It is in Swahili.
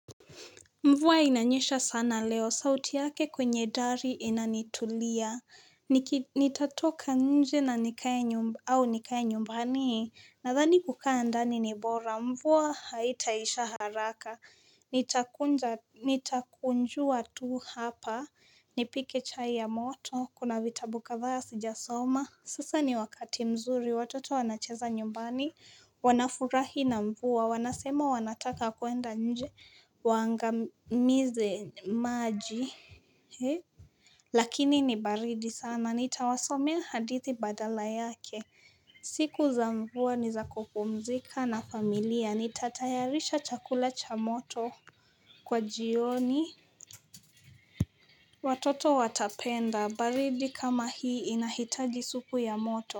Mvua inanyesha sana leo, sauti yake kwenye dari inanitulia, nitatoka nje na nikae au nikae nyumbani, nadhani kukaa ndani ni bora, mvua haitaisha haraka, nitakunja nitakunjua tu hapa, nipike chai ya moto, kuna vitabu kadhaa sijasoma. Sasa ni wakati mzuri, watoto wanacheza nyumbani, wanafurahi na mvua, wanasema wanataka kwenda nje waangamize maji, hee Lakini ni baridi sana, nitawasomea hadithi badala yake, siku za mvua ni za kupumzika na familia, nitatayarisha chakula cha moto kwa jioni, watoto watapenda, baridi kama hii inahitaji supu ya moto.